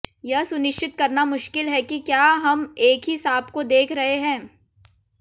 यह सुनिश्चित करना मुश्किल है कि क्या हम एक ही सांप को देख रहे हैं